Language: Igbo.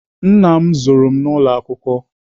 Nna m zụrụ n'ụlọ akwụkwọ.